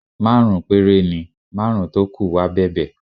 Márùn-ún péré ni, márùn-ún tó kù wá bẹ̀bẹ̀